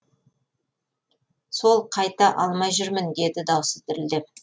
сол қайта алмай жүрмін деді даусы дірілдеп